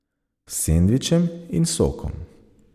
S sendvičem in sokom.